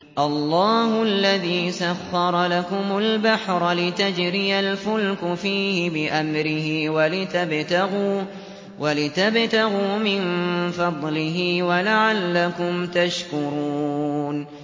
۞ اللَّهُ الَّذِي سَخَّرَ لَكُمُ الْبَحْرَ لِتَجْرِيَ الْفُلْكُ فِيهِ بِأَمْرِهِ وَلِتَبْتَغُوا مِن فَضْلِهِ وَلَعَلَّكُمْ تَشْكُرُونَ